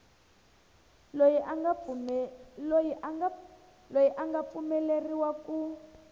loyi a nga pfumeleriwa ku